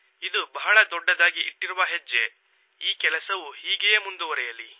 ಇದು ಬಹಳ ದೊಡ್ಡದಾಗಿ ಇಟ್ಟಿರುವ ಹೆಜ್ಜೆ ಈ ಕೆಲಸವು ಹೀಗೆಯೇ ಮುಂದುವರೆಯಲಿ